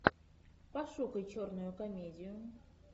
пошукай черную комедию